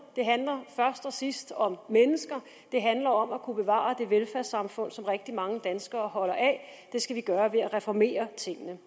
det handler først og sidst om mennesker det handler om at kunne bevare det velfærdssamfund som rigtig mange danskere holder af det skal vi gøre ved at reformere tingene